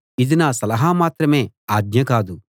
ఇది నా సలహా మాత్రమే ఆజ్ఞ కాదు